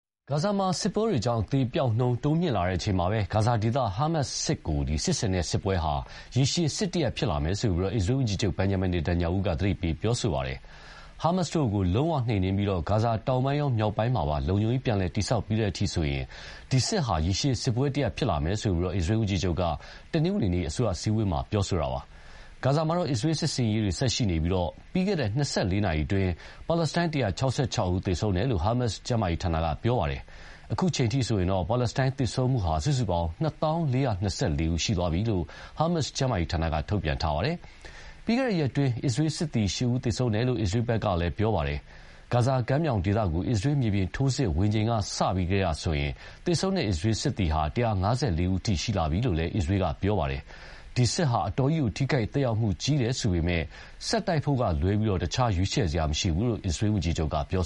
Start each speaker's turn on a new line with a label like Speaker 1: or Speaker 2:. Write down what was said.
Speaker 1: ဂါဇာမှာ စစ်ပွဲတွေကြောင့် အသေအပျောက်နှုန်း တိုးမြင့်လာချိန်မှာပဲ ဂါဇာဒေသ ဟာမတ်စ်တို့ကို စစ်ဆင်နေတာဟာ ရေရှည်စစ်တရပ်ဖြစ်လာမယ်လို့ အစ္စရေးဝန်ကြီးချုပ် Benjamin Netanyahu က သတိပေးပြောဆိုပါတယ်။ ဟာမတ်စ်တို့ကို လုံးဝနှိမ်နင်းပြီး ဂါဇာတောင်ပိုင်းရော မြောက်ပိုင်းမှာ လုံခြုံရေးပြန်လည်တည်ဆောက်ပြီးတဲ့အထိဆိုရင် ဒီစစ်ဟာ ရေရှည်စစ်ပွဲတရပ်ဖြစ်လာမယ်လို့ အစ္စရေးဝန်ကြီးချုပ်က တနင်္ဂနွေနေ့ အစိုးရအစည်းအဝေးမှာ ပြောဆိုတာပါ။ ဂါဇာမှာတော့ အစ္စရေးစစ်ဆင်ရေးတွေ ဆက်ရှိနေပြီး ပြီးခဲ့တဲ့ ၂၄ နာရီအတွင်းမှာ ပါလက်စတိုင်း ၁၆၆ ဦး သေဆုံးခဲ့တယ်လို့ ဟာမတ်စ် ကျန်းမာရေးဌာနက ပြောပါတယ်။ အခုအချိန်အထိဆိုရင်တော့ ပါလက်စတိုင်းသေဆုံးမှုဟာ စုစုပေါင်း ၂၀,၄၂၄ ဦး ရှိသွားပြီလို့ ဟာမတ်စ် ကျန်းမာရေးဌာနက ထုတ်ပြန်ပါတယ်။ ပြီးခဲ့တဲ့ရက်အတွင်း အစ္စရေးစစ်သည် ၈ ဦး သေဆုံးခဲ့တယ်လို့ အစ္စရေးကလည်း ပြောပါတယ်။ ဂါဇာကမ်းမြောင်ဒေသကို အစ္စရေးမြေပြင်ထိုးစစ် ဝင်ချိန်ကစလို့ဆိုရင် သေဆုံးတဲ့ အစ္စရေးစစ်သည် ၁၅၄ ဦးအထိ ရှိလာပြီလို့လည်း အစ္စရေးက ပြောပါတယ်။ ဒီစစ်ဟာ အတော်ကြီးထိခိုက်သက်ရောက်မှုကြီးတယ်ဆိုပေမယ့်လည်း ဆက်တိုက်ဖို့ကလွဲပြီး ရွေးချယ်စရာမရှိဘူးလို့ အစ္စရေးဝန်ကြီးချုပ်က ပြော